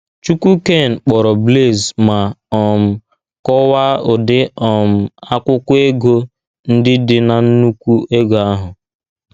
Chukwuaine kpọrọ Blaise ma um kọwaa ụdị um akwụkwọ ego ndị dị n’nnùkwù ego ahụ.